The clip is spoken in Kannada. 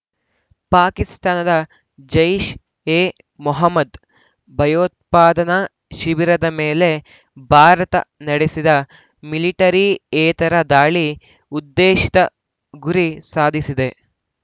ಪಾಕಿಸ್ತಾನದ ಜೈಷ್ ಎ ಮೊಹಮ್ಮದ್ ಭಯೋತ್ಪಾದನಾ ಶಿಬಿರದ ಮೇಲೆ ಭಾರತ ನಡೆಸಿದ ಮಿಲಿಟರಿಯೇತರ ದಾಳಿ ಉದ್ದೇಶಿತ ಗುರಿ ಸಾಧಿಸಿದೆ